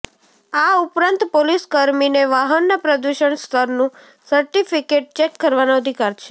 આ ઉપરાંત પોલીસકર્મીને વાહનના પ્રદૂષણ સ્તરનું સર્ટિફિકેટ ચેક કરવાનો અધિકાર છે